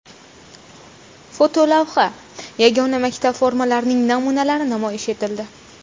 Fotolavha: Yagona maktab formalarining namunalari namoyish etildi.